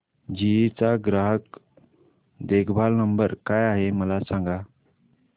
GE चा ग्राहक देखभाल नंबर काय आहे मला सांग